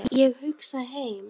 Ég hugsa heim.